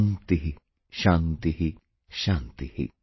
Shanti Shanti ॥